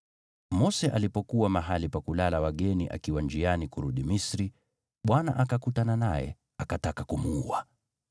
Mose alipokuwa mahali pa kulala wageni akiwa njiani kurudi Misri, Bwana akakutana naye, akataka kumuua.